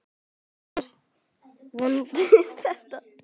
Hvernig fannst Vöndu þetta?